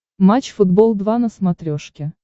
матч футбол два на смотрешке